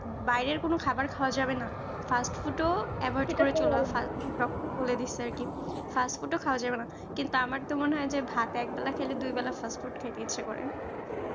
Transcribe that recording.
বাইরের কোন খাবার খাওয়া যাবেনা fast food ও avoid করে চলার হাত doctorly বলে দিচ্ছে আরকি fast food খাওয়া যাবেনা কিন্তু আমার তো মনে হয় যে ভাত এক বেলা খেলে দুই বেলা fast food খেতেই ইচ্ছা করে